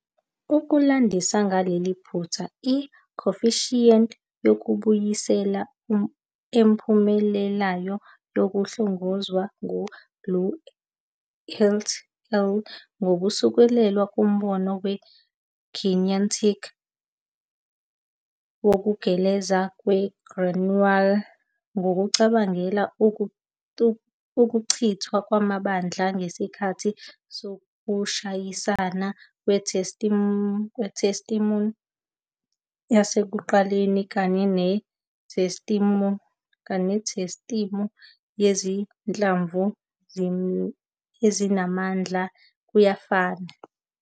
Ukulandisa ngaleli phutha, i-coefficient yokubuyisela ephumelelayo yahlongozwa ngu-Lu et al., ngokusekelwe kumbono we-kinetic wokugeleza kwe-granular, ngokucabangela ukuchithwa kwamandla ngesikhathi sokushayisana kwesistimu yasekuqaleni kanye nesistimu yezinhlamvu ezimahhadla kuyafana.